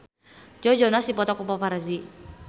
Joe Jonas dipoto ku paparazi